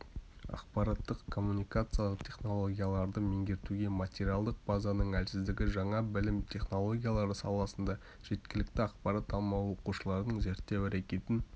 ақпараттық-коммуникациялық технологияларды меңгертуге материалдық базаның әлсіздігі жаңа білім технологиялары саласында жеткілікті ақпарат алмауы оқушылардың зерттеу әрекетін